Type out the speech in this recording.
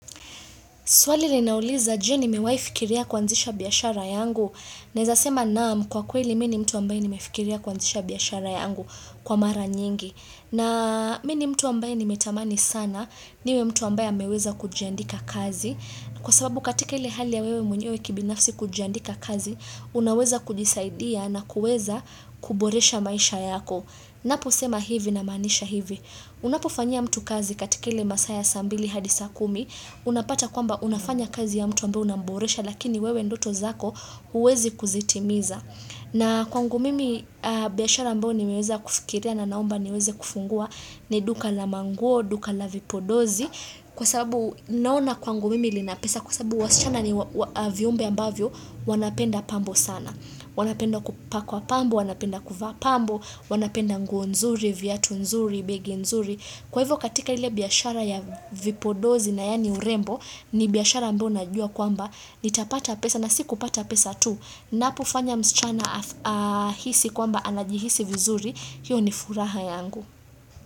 Swali linauliza je nimewai fikiria kwanzisha biyashara yangu. Naeza sema naam kwa kweli mi ni mtu ambaye ni mefikiria kuanzisha biyashara yangu kwa mara nyingi. Na mi ni mtu ambaye nimetamani sana niwe mtu ambaye ameweza kujiandika kazi. Kwa sababu katika ile hali ya wewe mwenyewe kibinafsi kujandika kazi, unaweza kujisaidia na kuweza kuboresha maisha yako. Napo sema hivi na maanisha hivi. Unapofanyia mtu kazi katikile masaa ya saa mbili hadi saa kumi Unapata kwamba unafanya kazi ya mtu ambao unamboresha lakini wewe ndoto zako uwezi kuzitimiza na kwangu mimi biyashara ambayo nimeweza kufikiria na naomba niweze kufungua ni duka la manguo, duka la vipodozi Kwa sababu naona kwangu mimi linapesa kwa sababu wasichana ni viumbe ambavyo wanapenda pambo sana wanapenda kupakwa pambo, wanapenda kuvaa pambo, wanapenda nguo nzuri, viatu nzuri, begi nzuri Kwa hivyo katika ile biyashara ya vipodozi na yani urembo ni biyashara ambayo najua kwamba Nitapata pesa na si kupata pesa tu, napofanya msichana ahisi kwamba anajihisi vizuri, hiyo ni furaha yangu.